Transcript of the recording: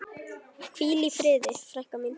Hvíl í friði frænka mín.